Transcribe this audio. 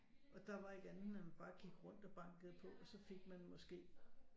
Og der var ikke andet end man bare gik rundt og bankede på og så fik man måske